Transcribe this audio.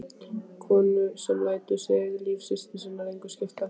Konu sem lætur sig líf systur sinnar engu skipta.